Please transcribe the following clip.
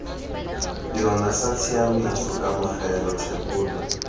yona sa tshiaimiso kamogelo thebolo